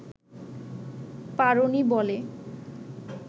পারোনি বলে